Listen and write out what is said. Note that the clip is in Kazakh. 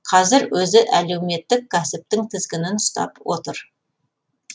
қазір өзі әлеуметтік кәсіптің тізгінін ұстап отыр